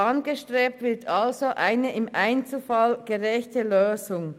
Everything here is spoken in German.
angestrebt wird eine im Einzelfall gerechte Lösung.